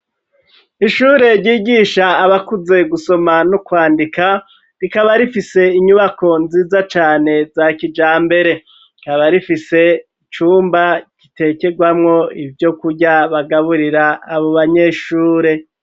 Ishure ryigisha abakuze gusoma no kwandika, rikaba rifise inyubako, nziza cane za kijambere, rikaba rifise icumba gitekerwamwo ivyo kurya, bagaburira abo banyeshure.